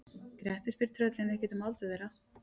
Grettir spyr tröllin ekkert um aldur þeirra.